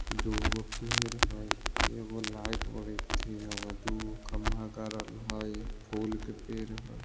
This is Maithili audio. दू गो पेड़ है एगो लाइट दू गो खंभा गारेल हेय फुल के पेड़ हेय।